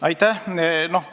Aitäh!